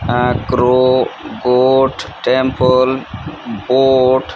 ah crow goat temple boat--